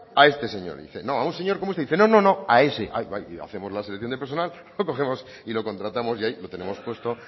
a este señor y dice no a un señor como este y dice no no no a ese hacemos la selección de personal cogemos y lo contratamos y ahí lo tenemos puesto